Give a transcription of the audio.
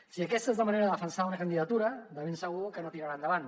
si aquesta és la manera de defensar una candidatura de ben segur que no tirarà endavant